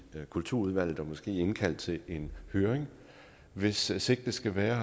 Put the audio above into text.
kulturudvalget og måske indkalde til en høring hvis sigte skal være